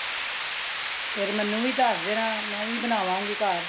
ਫੇਰ ਮੈਨੂੰ ਵੀ ਦੱਸ ਦੇਨਾ, ਮੈਵੀ ਬਨਾਵਾਂਗੀ ਘਰ